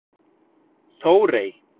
Þórey